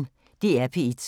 DR P1